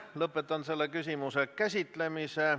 Lõpetan selle küsimuse käsitlemise.